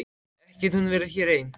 Ekki getur hún verið hér ein.